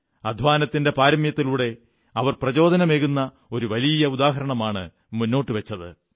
അധ്വാനത്തിന്റെ പാരമ്യത്തിലൂടെ അവർ പ്രചോദനമേകുന്ന ഒരു വലിയ ഉദാഹരണമാണ് മുന്നോട്ടു വച്ചത്